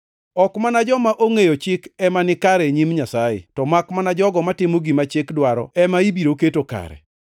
Ok mana joma ongʼeyo Chik ema nikare e nyim Nyasaye, to makmana jogo matimo gima chik dwaro ema ibiro keto kare.